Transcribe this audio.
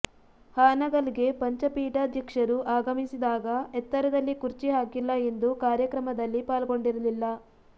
ಹಾನಗಲ್ಗೆ ಪಂಚ ಪೀಠಾಧ್ಯಕ್ಷರು ಆಗಮಿಸಿದಾಗ ಎತ್ತರದಲ್ಲಿ ಕುರ್ಚಿ ಹಾಕಿಲ್ಲ ಎಂದು ಕಾರ್ಯಕ್ರಮದಲ್ಲಿ ಪಾಲ್ಗೊಂಡಿರಲಿಲ್ಲ